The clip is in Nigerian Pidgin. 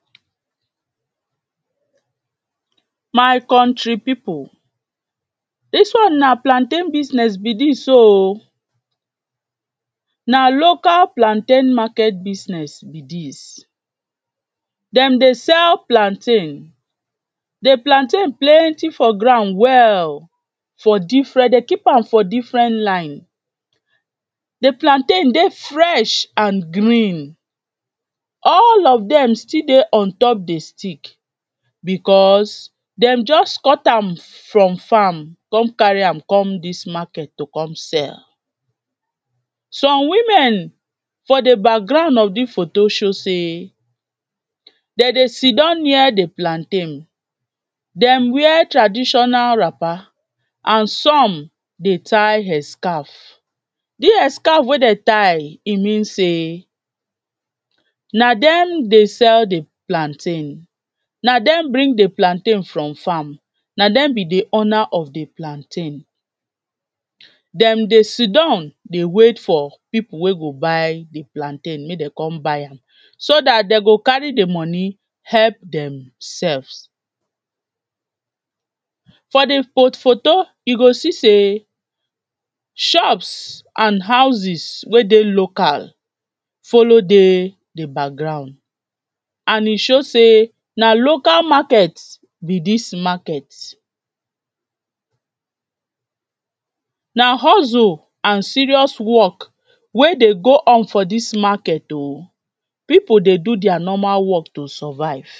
Mai konri people, dis one na plantain business be dis so oo, na local plantain market business be dis. Dem dey sell plantain, di plantain plenty for ground well, for different dem keep am for different line, de plantain dey fresh and green, all of dem still dey on top di stick because dem just cut am for farm come carry am come dis market to come sell. Some women for de background of de photo show sey dem dey sit down near di plantain, dem wear traditional wrapper, and some dey tie hair scarf, dis hair scarf wey dem tie, e mean sey, na dem dey sell di plantain, na dem bring di plantain from farm, na dem be di owner of de plantain, dem dey si don dey wait for people wey go buy de plantain make dem come buy am. So dat dem go carry de money, help dem selfs for di pho photo you go see sey shop and houses wey dey local follow dey di background, and e show sey na local market be dis market. Na hustle and serious work wey dey go on for dis market o, people dey do their normal work dey survive.